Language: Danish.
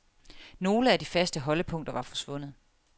Nogle af de faste holdepunkter var forsvundet.